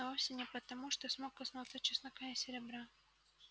но вовсе не потому что смог коснуться чеснока и серебра